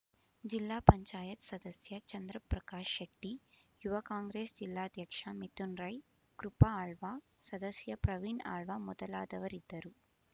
ಜಿಲ್ಲಾ ಪಂಚಾಯತ್ ಸದಸ್ಯ ಚಂದ್ರಪ್ರಕಾಶ್ ಶೆಟ್ಟಿ ಯುವ ಕಾಂಗ್ರೆಸ್ ಜಿಲ್ಲಾಧ್ಯಕ್ಷ ಮಿಥುನ್ ರೈ ಕೃಪಾ ಆಳ್ವ ಸದಸ್ಯ ಪ್ರವೀಣ್ ಆಳ್ವ ಮೊದಲಾದವರಿದ್ದರು